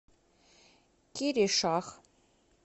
киришах